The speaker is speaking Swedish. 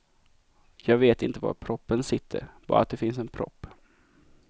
Jag vet inte var proppen sitter, bara att det finns en propp.